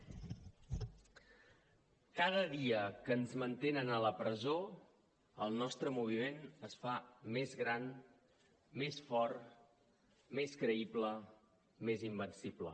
cada dia que ens mantenen a la presó el nostre moviment es fa més gran més fort més creïble més invencible